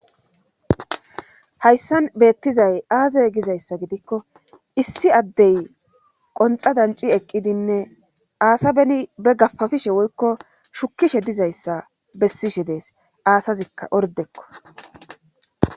hayssan beettizay aazey gizayssa gidikko issi addey qonxa danci eqqidinne aasa beni be gafafishe woykko shukishe dizayssa bessishe dees aasazikka ordekko